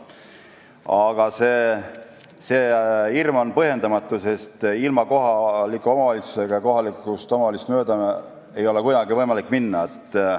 Aga see hirm on põhjendamatu, sest kohalikust omavalitsusest ei ole kuidagi võimalik mööda minna.